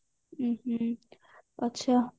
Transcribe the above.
ହୁଁ ହୁଁ ଆଚ୍ଛା